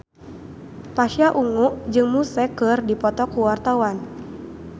Pasha Ungu jeung Muse keur dipoto ku wartawan